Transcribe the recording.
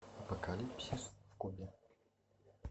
апокалипсис в кубе